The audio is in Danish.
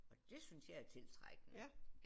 Og det synes jeg er tiltrækkende